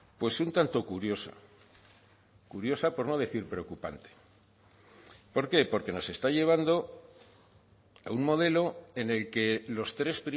pues un tanto curiosa curiosa por no decir preocupante por qué porque nos está llevando a un modelo en el que los tres